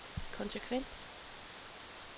konsekvens